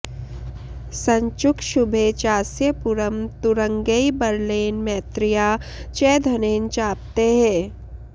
सञ्चुक्षुभे चास्य पुरं तुरङ्गैर्बलेन मैत्र्या च धनेन चाप्तैः